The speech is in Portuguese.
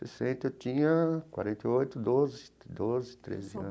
Sessenta, eu tinha quarenta e oito, doze, doze, treze anos.